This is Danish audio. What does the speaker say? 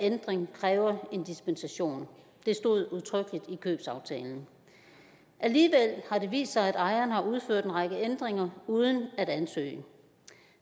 ændring kræver en dispensation det stod udtrykkeligt i købsaftalen alligevel har det vist sig at ejeren har udført en række ændringer uden at ansøge